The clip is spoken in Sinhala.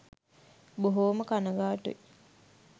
බොහෝම කනගාටුයි